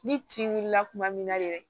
Ni tin wulila kuma min na yɛrɛ